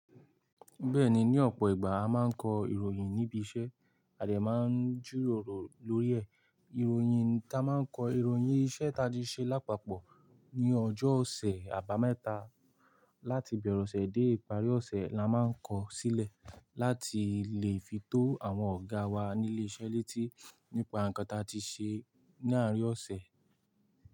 Bẹ́ẹ̀ni, ní ọ̀pọ̀ ìgbà a máa ń kọ ìròyìn níbi iṣẹ́, a dẹ̀ máa ń jíròrò lórí ẹ̀. Ìròyìn ta máa ń kọ, ìròyìn iṣẹ́ ta tí ṣẹ́ lápapọ̀ ní ọjọ́ ọ̀sẹ̀, àbámẹ́ta láti ìbẹ̀rẹ̀ ọ̀sẹ̀ dé ìparí ọ̀sẹ̀ la máa ń kọ sílẹ̀ láti lè fi tó àwọn ọ̀gá wa ní ilé iṣẹ́ létí nípa nǹkan ta ti ṣe láàárín ọ̀sẹ̀.